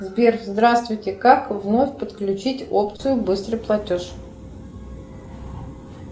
сбер здравствуйте как вновь подключить опцию быстрый платеж